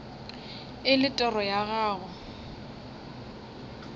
e le toro ya gago